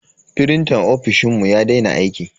Frintan ofishinmu ya daina aiki.